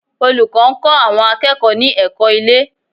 Olùkọ́ ń kọ́ àwọn akẹ́kọ̀ọ́ ní ẹ̀kọ́ ilé